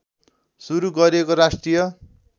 सुरु गरिएको राष्ट्रिय